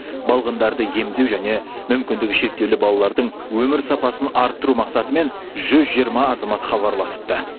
балғындарды емдеу және мүмкіндігі шектеулі балалардың өмір сапасын арттыру мақсатымен жүз жиырма азамат хабарласыпты